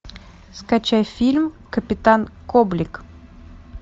скачай фильм капитан коблик